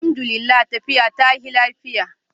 Alhamdu lillah, tafiya ta yi lafiya